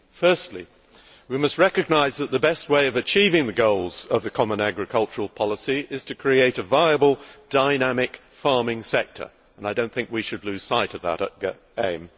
Firstly, we must recognise that the best way of achieving the goals of the common agricultural policy is to create a viable, dynamic farming sector and I do not think we should lose sight of that aim.